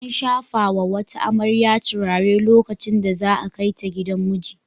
An shafa wa wata amarya turare lokacin da za a kai ta gidan miji.